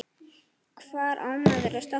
Hvar á maður að stoppa?